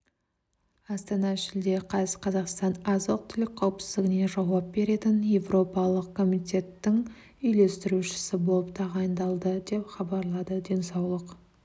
астана шілде қаз қазақстан азық-түлік қауіпсіздігіне жауап беретін еуропалық комитеттің үйлестірушісі болып тағайындалды деп хабарлады денсаулық